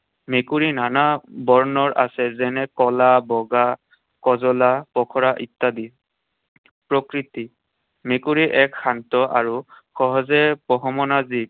মেকুৰী নানা বৰণৰ আছে। যেনে কলা, বগা, কজলা, পখৰা ইত্যাদি। প্ৰকৃতি। মেকুৰী এক শান্ত আৰু সহজে পোহ মনা জীৱ।